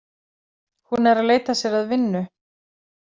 Hún er að leita sér að vinnu